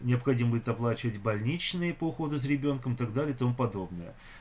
необходимо будет оплачивать больничный по уходу за ребёнком так далее и тому подобное